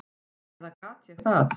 Eða gat ég það?